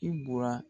I bura